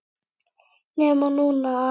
NEMA NÚNA!!!